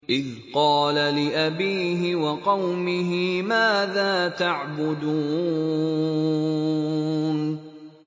إِذْ قَالَ لِأَبِيهِ وَقَوْمِهِ مَاذَا تَعْبُدُونَ